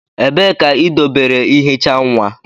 Ebee ka idobere ihicha nwa?